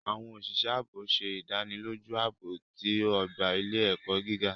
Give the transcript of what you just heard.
Awọn oṣiṣẹ aabo ń ṣe idaniloju aabo ti ogba ile-ẹkọ giga.